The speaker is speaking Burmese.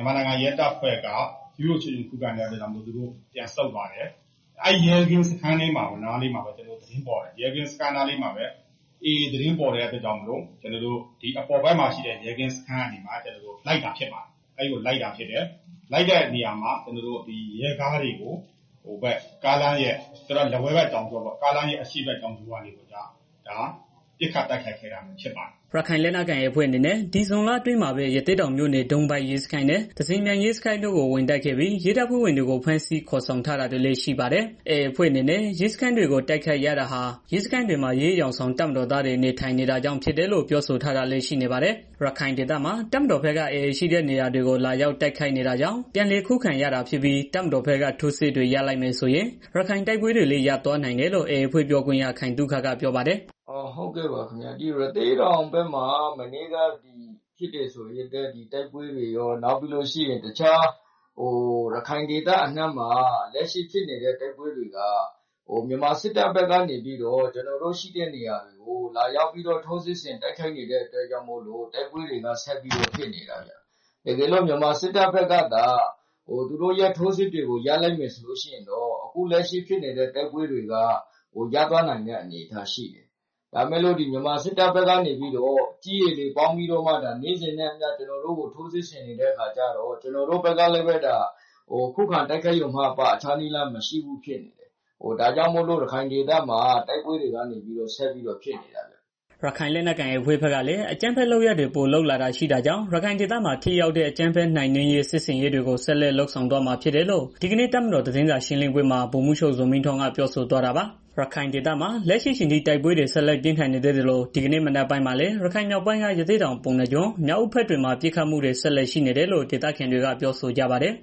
န်မာနိုင်ငံ ရဲတပ်ဖွဲ့က ခုခံတဲ့ အတွက် သူတို့ပြန်ဆုတ်သွားတယ်။ အဲဒီရဲ ကင်းစခန်းနားလေးမှာပဲ သူတို့ AA သတင်းပေါ်တဲ့ အတွက်ကြောင့်မို့ ကျနော်တို့ အပေါ်ဘက်မှာ ရှိတဲ့ ရဲကင်း စခန်း ကနေပြီးတော့ ကျနော်တို့ လိုက်လာတာဖြစ်တယ်။ လိုက်လာတဲ့ ရဲကားတွေကို ကားလမ်းရဲ အရှေ့ဘက်ကနေ ပစ်ခတ် တိုက်ခိုက်ခဲ့တာဖြစ်တယ်။" ရခိုင်လက်နက်ကိုင် AA အဖွဲ့အနေနဲ့ ဒီဇွန်လအတွင်းမှာပဲ ရသေ့တောင်မြို့နယ် ဒုံးပိုက်ရဲစခန်းနဲ့ သဇင်ပြိုင်ရဲစခန်းတို့ကို ဝင်တိုက်ခဲ့ပြီး ရဲတပ်ဖွဲ့ဝင်တွေကို ဖမ်းဆီးခေါ်ဆောင်ထားတာတွေလည်း ရှိပါတယ်။ AA အဖွဲ့အနေနဲ့ ရဲစခန်းတွေကို တိုက်ခိုက်ရတာဟာ ရဲစခန်းတွေမှာ ရဲအယောင်ဆောင် တပ်မတော်သားတွေ နေထိုင်နေတာကြောင့် ဖြစ်တယ်လို့ ပြောဆိုထားတာတွေလည်းရှိပါတယ်။ ရခိုင်ဒေသမှာ တပ်မတော်ဘက်က AA ရှိတဲ့နေရာတွေကို လာရောက်တိုက်ခိုက်နေတာကြောင့် ပြန်လည်ခုခံရတာဖြစ်ပြီး တပ်မတော်ဘက်က ထိုးစစ်တွေ ရပ်လိုက်မယ်ဆိုရင် ရခိုင်တိုက်ပွဲတွေလည်း ရပ်သွားနိုင်တယ်လို့ AA အဖွဲ့ ပြောခွင့်ရ ခိုင်သုခက ပြောပါတယ်။ "ရသေ့တောင်ဘက်မှာ မနေ့က ဖြစ်တဲ့ တိုက်ပွဲတွေရော တခြားရခိုင်ဒေသအနှံ့မှာ ဖြစ်နေတဲ့ တိုက်ပွဲတွေက မြန်မာစစ်တပ်ဘက်က ကျနော်တို့ရှိတဲ့နေရာတွေကို လာရောက်ပြီးတော့ ထိုးစစ်ဆင် တိုက်ခိုက်နေတဲ့ အတွက်မို့လို့ တိုက်ပွဲတွေက ဆက်ပြီးတော့ ဖြစ်နေတာခင်မျာ။ တကယ်လို့ မြန်မာစစ်တပ်ဘက်ကသာ သူတို့ရဲ့ ထိုးစစ်တွေကို ရပ်လိုက်မယ်ဆိုလို့ရှိရင်တော့ အခုလက်ရှိဖြစ်နေတဲ့ တိုက်ပွဲတွေက ရပ်သွားနိုင်တဲ့ အနေအထားရှိတယ်။ ဒါပေမဲ့လည်း မြန်မာစစ်တပ်ဘက်က နေ့စဉ်နဲ့အမျှ ထိုးစစ်ဆင်နေတာတွေကြောင့် ကျနော်တို့ဘက်ကလည်း ခုခံတိုက်ခိုက်ရုံမှအပ တခြားနည်းလမ်း မရှိဘူးဖြစ်နေတယ်။ ဒါကြောင့် ရခိုင်ဒေသမှာ တိုက်ပွဲတွေက ဆက်ပြီး တော့ ဖြစ်နေတာဗျာ။" ရခိုင်လက်နက်ကိုင် AA အဖွဲ့ဘက်လည်း အကြမ်းဖက် လုပ်ရပ်တွေ ပိုလုပ်လာတာတွေရှိတာကြောင့် ရခိုင်ဒေသမှာ ထိရောက်တဲ့ အကြမ်းဖက်မှုနှိမ်နင်းမယ့် စစ်ဆင်ရေးကို ဆက်လက်လုပ်ဆောင်သွားမှာ ဖြစ်တယ်လို့ ဒီကနေ့ တပ်မတော်သတင်းစာရှင်းလင်းပွဲမှာ ဗိုလ်မှူးချုပ် ဇော်မင်းထွန်းက ပြောဆိုသွားတာဖြစ်ပါတယ်။ ရခိုင်ဒေသမှာ လက်ရှိအချိန်ထိ တိုက်ပွဲတွေ ဆက်လက်ပြင်းထန်နေသေးသလို ဒီကနေ့ မနက်ပိုင်းမှာလည်း ရခိုင်မြောက်ပိုင်းက ရသေ့တောင် ပုဏ္ဏားကျွန်း မြောက်ဦးဘက်တွေမှာပစ်ခတ်မှုတွေ ဆက်လက်ရှိနေတယ်လို့ ဒေသခံတွေက ပြောဆိုကြပါတယ်